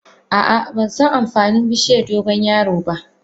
Ah ah bansan amfanin bishiyar dogon yaro ba.